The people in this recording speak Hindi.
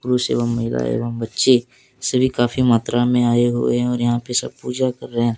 बहुत से वहां महिलाएं एवं बच्चे सभी काफी मात्रा में आए हुए हैं और यहां पे सब पूजा कर रहे हैं।